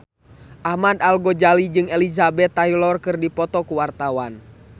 Ahmad Al-Ghazali jeung Elizabeth Taylor keur dipoto ku wartawan